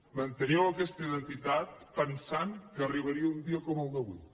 manteníeu aquesta identitat pensant que arribaria un dia com el d’avui